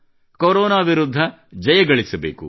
corona ವಿರುದ್ಧ ಜಯಗಳಿಸಬೇಕು